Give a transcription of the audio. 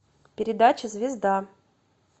передача звезда